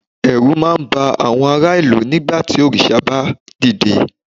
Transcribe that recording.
ẹrú ma ba àwọn ará ìlú nígbà tí òrìṣà ba dide